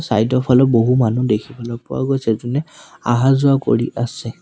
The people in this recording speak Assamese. চাইড ৰ ফালে বহু মানুহ দেখিবলৈ পোৱা গৈছে জোনে আহা যোৱা কৰি আছে।